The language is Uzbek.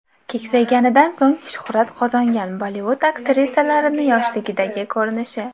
Keksayganidan so‘ng shuhrat qozongan Bollivud aktrisalarining yoshligidagi ko‘rinishi .